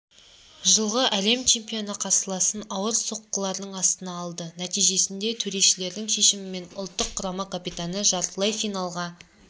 жылғы әлем чемпионы қарсыласын ауыр соққылардың астына алды нәтижесінде төрешілердің шешімімен ұлттық құрама капитаны жартылайфиналға